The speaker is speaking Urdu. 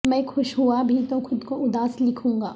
میں خوش ہوا بھی تو خود کو اداس لکھوں گا